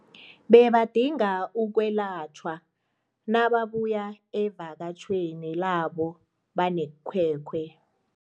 Bebadinga ukwelatjhwa nababuya evakatjhweni labo banekhwekhwe.